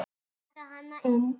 Taka hana inn.